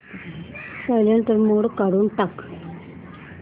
silent mode काढून टाक